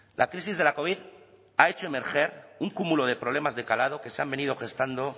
la crisis de la covid ha hecho emerger un cúmulo de problemas de calado que se han venido gestando